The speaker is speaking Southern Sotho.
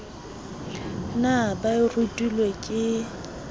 na ba e rutilwe ke